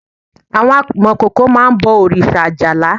Àwọn amọ̀kòkò máá ń bọ̀ òrìṣà Ajala